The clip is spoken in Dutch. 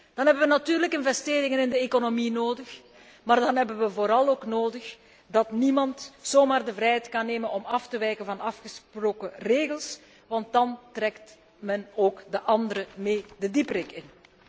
Dan hebben we natuurlijk investeringen in de economie nodig, maar dan hebben we vooral ook nodig dat niemand zomaar de vrijheid kan nemen om af te wijken van afgesproken regels, want dan trekt men ook de anderen mee de diepte in.